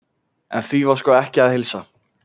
En því var sko ekki að heilsa.